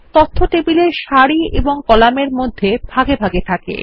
তথ্য টেবিলের সারি এবং কলামের মধ্যে ভাগে ভাগে থাকে